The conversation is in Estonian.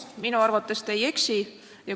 Minu arvates te ei eksi.